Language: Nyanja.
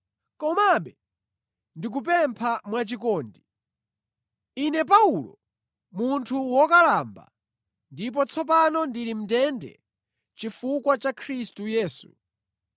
komabe ndikupempha mwachikondi. Ine Paulo, munthu wokalamba, ndipo tsopano ndili mʼndende chifukwa cha Khristu Yesu,